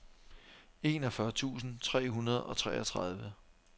enogfyrre tusind tre hundrede og treogtredive